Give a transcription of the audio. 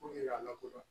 ka lakodɔn